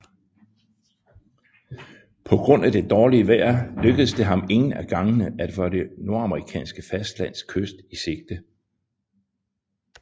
På grund af det dårlige vejr lykkedes det ham ingen af gangene at få det nordamerikanske fastlands kyst i sigte